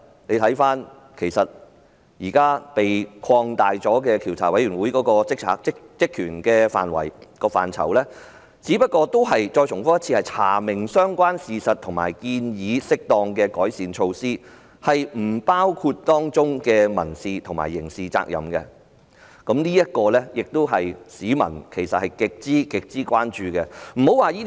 現時獨立調查委員會的職權範圍得到擴大，只不過是"查明相關事實"和"建議適當的改善措施"，並不包括當中涉及的民事和刑事責任，這是市民極為關注的。